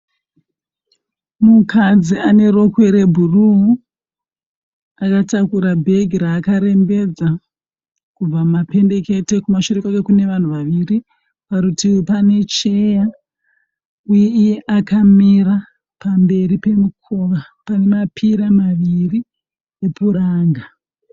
Mukadzi ane rokwe rebhuruu. Akatakura bhegi raakarembedza kubva mumapendekete. Kumashure kwakwe kune vanhu vaviri . Parutivi pane cheya, uye iye akamira pamberi pemukova pane mapira maviri epuranga.